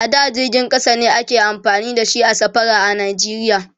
a da jirgin ƙasa ne ake amfani da shi a safara a nigeria